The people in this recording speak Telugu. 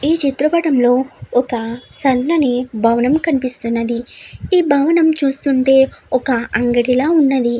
ఈ చిత్ర పటం లో ఒక సన్నని భవనం కనిపిస్తున్నది ఈ భవనం చూస్తుంటే ఒక అంగడి లా ఉన్నది.